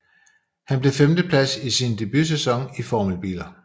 Han blev femteplads i sin debutsæson i formelbiler